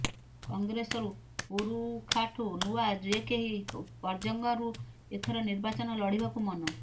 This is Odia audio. କଂଗ୍ରେସରୁ ପୁରୁଖାଠୁ ନୂଆ ଯେକେହି ପର୍ଜଙ୍ଗରୁ ଏଥର ନିର୍ବାଚନ ଲଢ଼ିବାକୁ ମନ